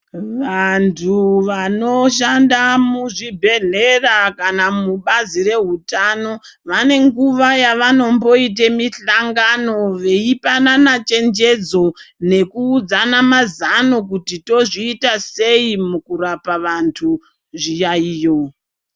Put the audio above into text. Vantu vanoshanda muzvibhedhlera kana mubazi rehutano. Vane nguva yavanomboite mihlangano veipanana chenjedzo nekuudzana mazano kuti tozviita sei mukurapa antu zviyaiyo.